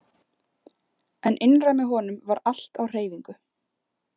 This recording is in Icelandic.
En innra með honum var allt á hreyfingu.